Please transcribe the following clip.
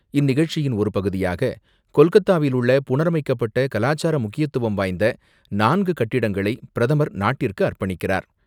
இந்நிகழ்ச்சியின் ஒரு பகுதியாக கொல்கத்தாவில் புனரமைக்கப்பட்ட கலாச்சார முக்கியத்துவம் வாய்ந்த நான்கு கட்டிடங்களை பிரதமர் நாட்டிற்கு அர்ப்பணிக்கிறார்.